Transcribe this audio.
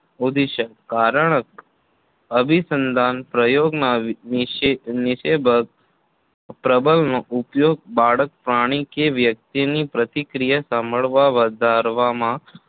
ઉડીશક કારણક અભિસંધાનના પ્રયોગમાં નિષેધક પ્રબલનનો ઉપયોગ બાળક પ્રાણી કે વ્યક્તિની પ્રતિક્રિયા સંભાવના વધારવા મા